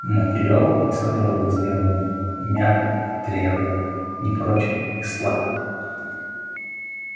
материал из которого вы сделаны мягок и дрябл непрочен и слаб